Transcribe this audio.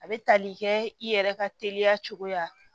A bɛ tali kɛ i yɛrɛ ka teliya cogoya